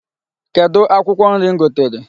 Kedụ akwụkwọ nri m gotere?